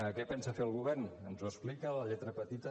què pensa fer el govern ens ho explica la lletra petita